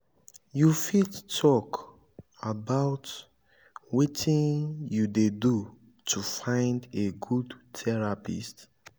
you fit talk about wetin you do to find a good therapist?